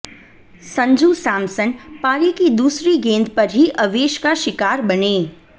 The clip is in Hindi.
संजू सैमसन पारी की दूसरी गेंद पर ही अवेश का शिकार बने